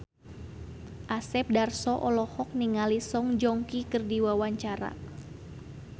Asep Darso olohok ningali Song Joong Ki keur diwawancara